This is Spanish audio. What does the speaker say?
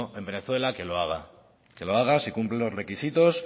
en venezuela que lo haga si cumple los requisitos